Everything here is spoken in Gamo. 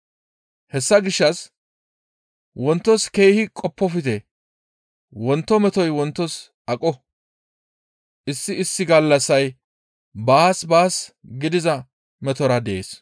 Hessa gishshas wontos keehi qoppofte; wonto metoy wontos aqo; issi issi gallassay baas baas gidiza metora dees.